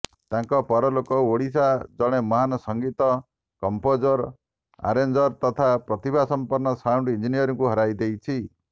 ତାଙ୍କ ପରଲୋକରେ ଓଡ଼ିଶା ଜଣେ ମହାନ୍ ସଙ୍ଗୀତ କମ୍ପୋଜର୍ ଆରେଞ୍ଜର ତଥା ପ୍ରତିଭାସମ୍ପନ୍ନ ସାଉଣ୍ଡ୍ ଇଞ୍ଜିନିୟରଙ୍କୁ ହରାଇଦେଇଛି